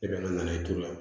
I bɛ na ne t'o la